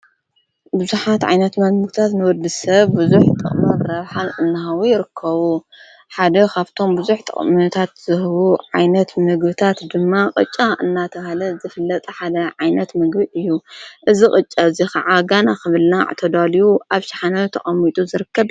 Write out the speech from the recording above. ብዙኃት ዓይነት ምግቢታት ሙኽታት ንወዲ ሰብ ብዙኅ ጥቕምር ራብኀን እንሃዊ ይርከቡ ሓደ ኻብቶም ብዙኅ ጥቕምታት ዝህቡ ዓይነት ምግብታት ድማ ቕጫ እናተውሃለ ዘፍለጠ ሓደ ዓይነት ምግብጥ እዩ እዝ ቕጨ እዙይ ኸዓ ጋና ኽብልና ዕተዳልዩ ኣብ ሻሓነዊ ተቐሚጡ ይርክብ::